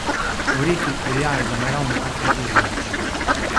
Orehi veljajo za naravne afrodiziake.